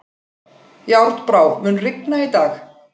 Járnbrá, mun rigna í dag?